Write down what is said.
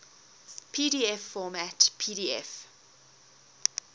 pdf format pdf